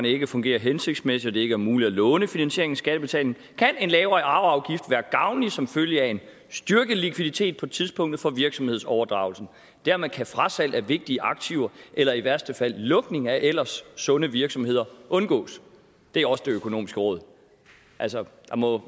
ikke fungerer hensigtsmæssigt ikke er muligt af lånefinansiere skattebetalingen kan en lavere arveafgift være gavnlig som følge af en styrket likviditet på tidspunktet for virksomhedsoverdragelsen dermed kan frasalg af vigtige aktiver eller i værste fald lukning af ellers sunde virksomheder undgås det er også det økonomiske råd altså